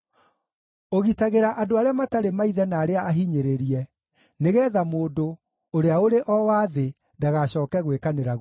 ũgitagĩra andũ arĩa matarĩ maithe na arĩa ahinyĩrĩrie, nĩgeetha mũndũ, ũrĩa ũrĩ o wa thĩ, ndagacooke gwĩkanĩra guoya.